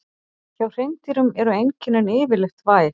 Hjá hreindýrum eru einkennin yfirleitt væg.